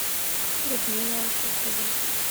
людмилу алтухову